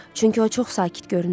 Çünki o çox sakit görünürdü.